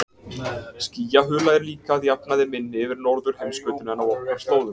Skýjahula er líka að jafnaði minni yfir norðurheimskautinu en á okkar slóðum.